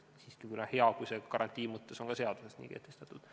Siiski on hea, kui see on n-ö garantii mõttes ka seaduses nii kehtestatud.